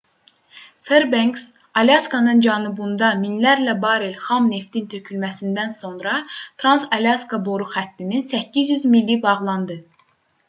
ferbenks alyaskanın cənubunda minlərlə barel xam neftin tökülməsindən sonra trans-alyaska boru xəttinin 800 mili bağlandı